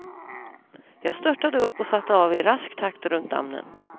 Jag störtade upp och satte av i rask takt runt dammen.